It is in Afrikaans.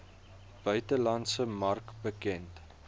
buitelandse mark bekend